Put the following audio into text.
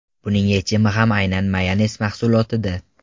Buning yechimi ham aynan mayonez mahsulotida.